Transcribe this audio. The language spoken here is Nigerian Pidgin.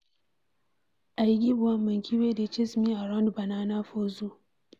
I give one monkey wey dey chase me around banana for zoo.